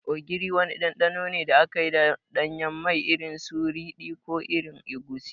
Ogiri wani ɗanɗano ne da aka yi da ɗanyen mai, irin su ridi ko irin egusi.